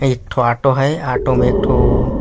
एक ठो ऑटो है ऑटो में एक ठो --